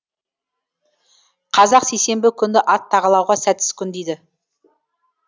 қазақ сейсенбі күнді ат тағалауға сәтсіз күн дейді